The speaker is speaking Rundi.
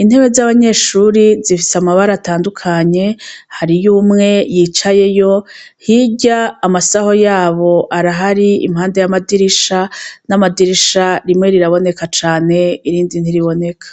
intewe z'abanyeshuri zifise amabara atandukanye hari youmwe yicayeyo hirya amasaho yabo arahari impanda y'amadirisha n'amadirisha rimwe riraboneka cane irindi ntiriboneka.